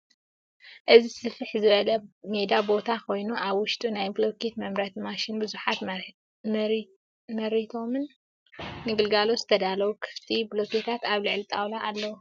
እዚ ስፍሕ ዝበለ ሜዳ ቦታ ኮይኑ ኣብ ውሽጡ ናይ ብሎኬት መምረቲት መሽንን ብዙሓት መሪቶም ንግልጋሎት ዝተዳለዉ ክፍቲ ብሎኬታት ኣብ ልዕሊ ጣውላ ኣለዉ፡፡